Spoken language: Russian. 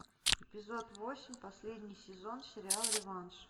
эпизод восемь последний сезон сериал реванш